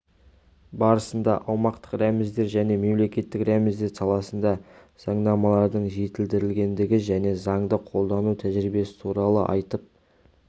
барысында аумақтық рәміздер және мемлекеттік рәміздер саласында заңнамалардың жетілдірілгендігі және заңды қолдану тәжірибесі туралы айтып